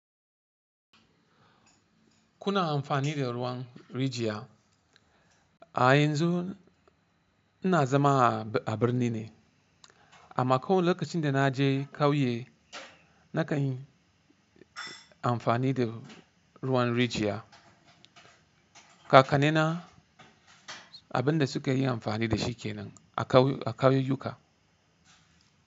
Kuna amfani da ruwan rijiya? A yanzu ina zama a birni ne, amma ko lokacin da na je kauye na kanyi amfani da ruwan rijiya. Kakannena abin da suka yi amfani da shi kenan a kauye, a kauyuka.